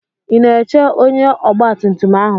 I na-eche ónyé ọgba tum tum ahụ?